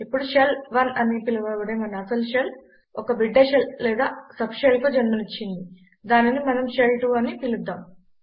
ఇప్పుడు షెల్ 1 అని పిలవబడే మన అసలు షెల్ ఒక బిడ్డ షెల్ లేదా సబ్ షెల్కు జన్మనిచ్చింది దానిని మనం షెల్ 2 అని పిలుద్దాం